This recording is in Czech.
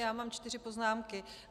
Já mám čtyři poznámky.